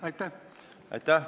Aitäh!